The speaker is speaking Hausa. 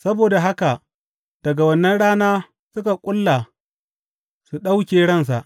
Saboda haka, daga wannan rana suka ƙulla su ɗauke ransa.